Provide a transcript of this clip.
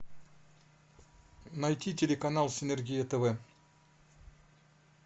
найти телеканал синергия тв